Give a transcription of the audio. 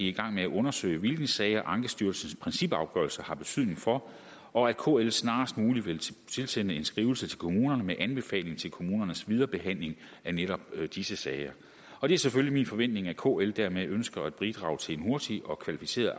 i gang med at undersøge hvilke sager ankestyrelsens principafgørelse har betydning for og at kl snarest muligt vil tilsende en skrivelse til kommunerne med anbefaling til kommunernes viderebehandling af netop disse sager og det er selvfølgelig min forventning at kl dermed ønsker at bidrage til en hurtig og kvalificeret